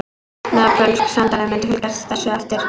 Nepölsk sendiráð munu fylgja þessu eftir